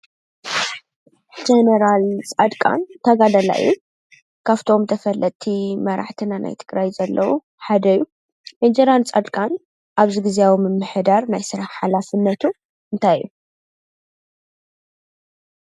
ጀነራል ፃድቃን ተጋዳላይ እዩ፡፡ ካፍቶም ተፈለጥቲ መራሕትና ናይ ትግራይ ዘለው ሓደ እዩ፡፡ ጀነራል ፃድቃን ኣብዚ ጊዝያዊ ምምሕዳር ናይ ስራሕ ሓላፍነቱ እንታይ እዩ?